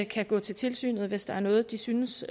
kan gå til tilsynet hvis der er noget de synes